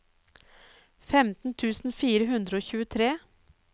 femten tusen fire hundre og tjuetre